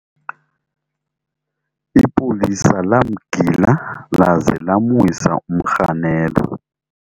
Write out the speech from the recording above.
ipolisa lamgila laza lamwisa umrhanelwa